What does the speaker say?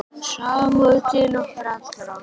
Samúð til okkar allra.